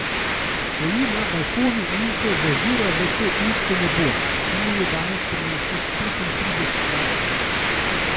Stoji na balkonu in se zazira v to isto nebo, ki mi je danes prineslo petintrideset lastovk.